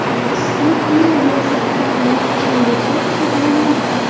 Issiqlik energiyasi tariflari oshirilishi cheklanadi.